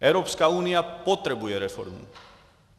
Evropská unie potřebuje reformu.